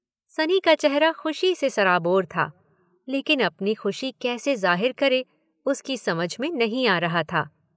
सनी का चेहरा खुशी से सराबोर था लेकिन अपनी खुशी कैसे जाहिर करे उसकी समझ में नहीं आ रहा था?